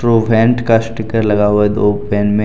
ट्रॉवेंट का स्टीकर लगा हुआ है दो में